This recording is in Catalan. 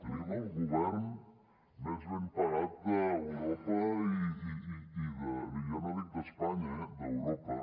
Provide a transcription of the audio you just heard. tenim el govern més ben pagat d’europa i ja no dic d’espanya d’europa